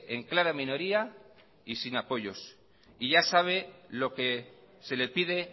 en clara minoría y sin apoyos y ya sabe lo que se le pide